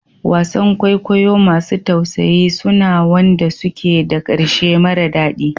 Wasan kwaikwayo masu tausayi suna wanda suke da ƙarshe mara daɗi